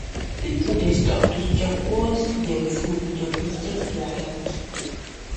people dey stop to chop once dem full to protect their health